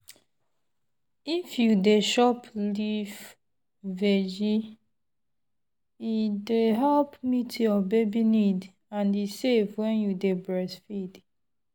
if you dey chop leaf-veg e dey help meet your baby need and e safe when you dey breastfeed.